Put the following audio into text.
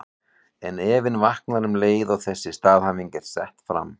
En efinn vaknar um leið og þessi staðhæfing er sett fram.